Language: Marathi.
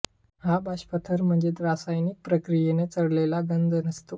हा बाष्पथर म्हणजे रासायनिक प्रक्रियेने चढलेला गंज नसतो